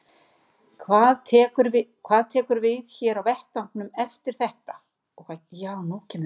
Fréttamaður: Hvað tekur við hér á vettvangnum eftir þetta?